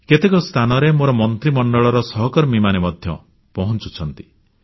କେତେକ ସ୍ଥାନରେ ମୋ ମନ୍ତ୍ରୀମଣ୍ଡଳର ସହକର୍ମୀମାନେ ମଧ୍ୟ ପହଞ୍ଚୁଛନ୍ତି